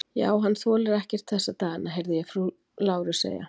Já, hann þolir ekkert þessa dagana, heyrði ég frú Láru segja.